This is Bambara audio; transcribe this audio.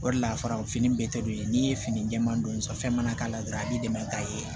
O de la farafin bɛ tɛdon n'i ye fini jɛman don san fɛn mana k'a la dɔrɔn a b'i dɛmɛ k'a ye